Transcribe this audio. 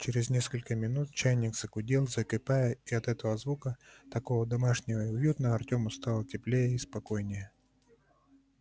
через несколько минут чайник загудел закипая и от этого звука такого домашнего и уютного артему стало теплее и спокойнее